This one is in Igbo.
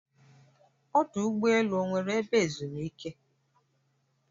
Ọdụ ụgbọ elu ọ nweere ebe ezumike?